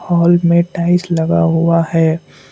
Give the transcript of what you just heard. Hall में tiles लगा हुआ है।